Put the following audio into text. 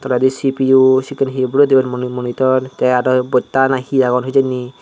toledi C_P_U sippun he bule dibar moni monitor te aro bosta na he agon hijeni.